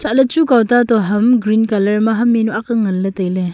elah ley chu kaw ta toh ham green colour ma ham jawnu ang ngan ley tai ley.